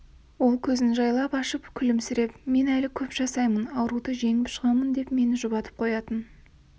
ол көзін жайлап ашып күлімсіреп мен әлі көп жасаймын ауруды жеңіп шығамын деп мені жұбатып қоятын